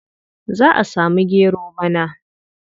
Za a samu gero bana.